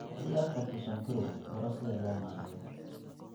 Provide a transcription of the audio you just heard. Haddii aad qabto sonkorow, baro sida loo maareeyo.